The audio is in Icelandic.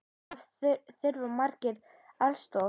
Þar þurfa margir aðstoð.